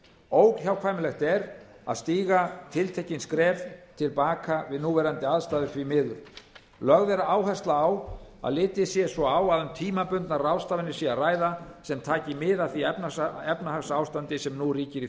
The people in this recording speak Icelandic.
óhjákvæmilegt er að stíga tiltekin skref til baka við núverandi aðstæður því miður lögð er áhersla á að litið sé svo á að um tímabundnar ráðstafanir sé að ræða sem taki mið af því efnahagsástandi sem nú ríkir í